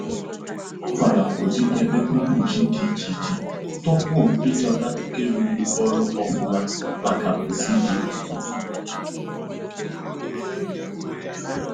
Ọ nwara ụdị ebe mkpochi dị iche iche tupu ịchọta nke rụrụ ọrụ ọfụma maka pusi dị ọtụtụ